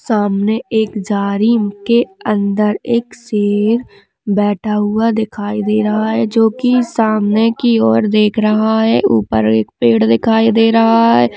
सामने एक जाली के अंदर एक शेर बैठा हुआ दिखाई दे रहा है जो की सामने की ओर देख रहा है उपर एक पेड़ दिखाई दे रहा है।